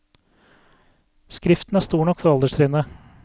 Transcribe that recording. Skriften er stor nok for alderstrinnet.